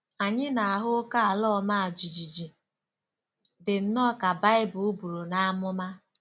Ànyị na-ahụ oké ala ọma jijiji, dị nnọọ ka Bible buru n'amụma?